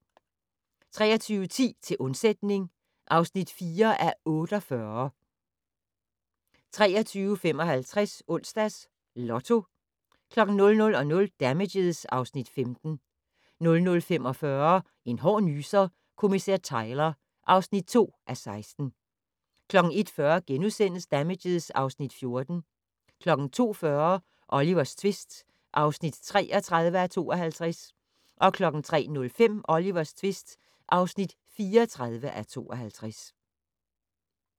23:10: Til undsætning (4:48) 23:55: Onsdags Lotto 00:00: Damages (Afs. 15) 00:45: En hård nyser: Kommissær Tyler (2:16) 01:40: Damages (Afs. 14)* 02:40: Olivers tvist (33:52) 03:05: Olivers tvist (34:52)